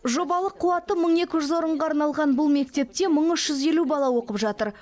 жобалық қуаты мың екі жүз орынға арналған бұл мектепте мың үш жүз елу бала оқып жатыр